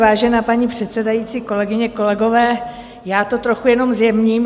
Vážená paní předsedající, kolegyně, kolegové, já to trochu jenom zjemním.